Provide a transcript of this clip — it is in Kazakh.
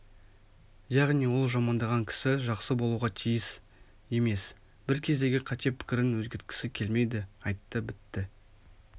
яғни ол жамандаған кісі жақсы болуға тиіс емес бір кездегі қате пікірін өзгерткісі келмейді айтты бітті